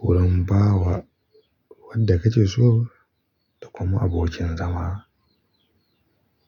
wurin bawa wanda kake so da kuma abokin zama.